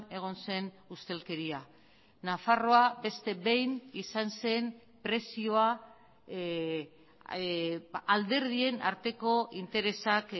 egon zen ustelkeria nafarroa beste behin izan zen prezioa alderdien arteko interesak